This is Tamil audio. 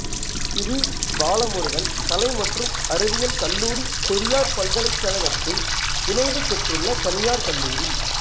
சிறீ பாலமுருகன் கலை மற்றும் அறிவியல் கல்லூரி பெரியார் பல்கலைக்கழகத்தின் இணைவு பெற்றுள்ள தனியார் கல்லூரி